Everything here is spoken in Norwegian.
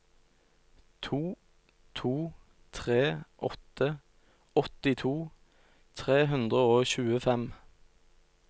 to to tre åtte åttito tre hundre og tjuefem